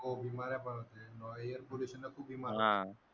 हो बिमाऱ्या पण असते अं air pollution खूप बिमार होते.